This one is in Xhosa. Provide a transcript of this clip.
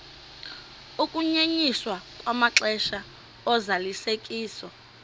ukunyenyiswa kwamaxesha ozalisekiso